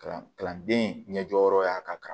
Kalan kalanden ɲɛjɔ yɔrɔ ka kan